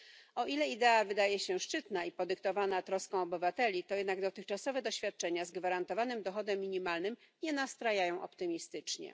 O ile idea wydaje się szczytna i podyktowana troską o obywateli, to jednak dotychczasowe doświadczenia z gwarantowanym dochodem minimalnym nie nastrajają optymistycznie.